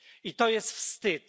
I to jest wstyd.